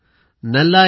आपण कसे आहात